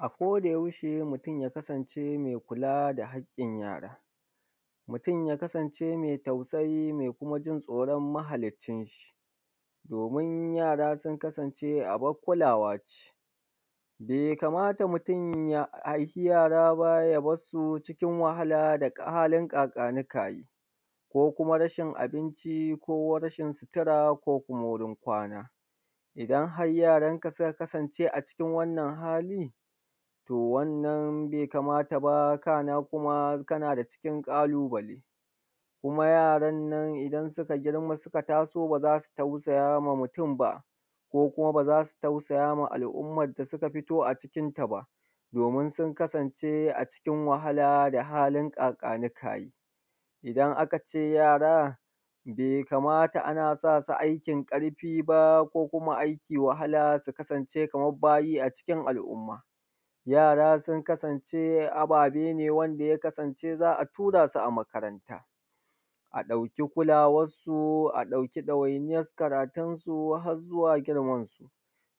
A koda yaushe mutun ya kasance mai kula da haƙƙin yara. Mutun ya kasance mai tausayi mai kuma tsoran mahallicin sa. Domin yara sun kasance abun kulawa ce. Bai kamata mutun ya haifi yara ba ya bar su cikin wahala da halin ƙaƙani ƙayi ko rashin abinci, sutura, ko wajan kwana. Idan har yaranka suka kasance a cikin wannan hali, to wannan bai kamata ba kana kuma kana daga cikin ƙalubale, kuma yaran nan idan suka girma suka taso ba za su tausaya ma mutun ba, ko kuma ba za su tausaya wa al'ummar da suka fito a cikin ta ba, domim sun kasance a cikin wahala da halin ƙaƙani ƙani. Idan aka ce yara bai kamata ana sasu aikin ƙarfi ba ko aiki mai wahala su kasance kamar bayi a cikin al'umma. Yara sun kasance ababe ne wanda ya kasance za a tura su a makaranta. A ɗauki kulawansu, a ɗauki ɗawaniyar karatunsu, ɗawainiyansu har zuwa girman su.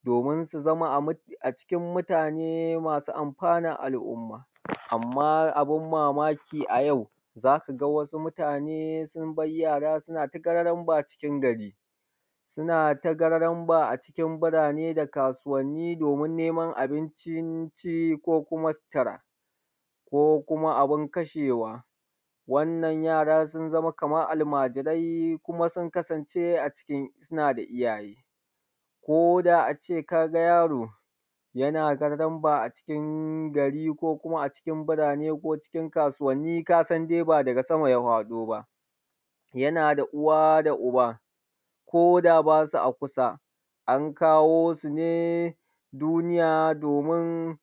Domin su zama a cikin mutane masu amfanan al'umma. Amma abun mamaki a yau za ka ga wasu mutane sun bar yara suna ta gararamba a cikin gari, suna ta gararamba a cikin birane da kasuwani domin neman abincin ci, ko kuma sutura, ko kuma abun kashewa. Wannan yara sun zama kamar almajirai kuma sun kasance suna da iyaye. Koda a ce kaga yaro yana gararamba a cikin gari ko kuma a cikin birane ko a cikin kasuwani kasan dai ba daga sama ya faɗo ba, yana da uwa da uba koda ba su a kusa, an kawo su ne duniya domin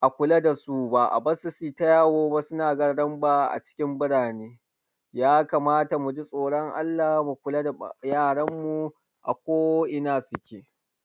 a kula da su ba a bar su su yi ta yawo ba suna gararamba a cikin birane. Ya kamata muji tsoran Allah mu kula da yaran mu ako ina suke.